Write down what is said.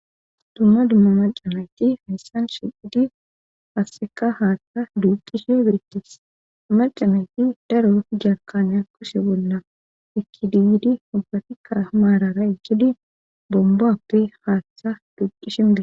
Dumma dumma maca nayiti hayssan shiidi qasseka haaththa duuqishe birittis maca nayiti daro jaarkaniya kushe bolla ekidiydi ubbatikka maarara ichidi bomboppe haaththa duuqisimida.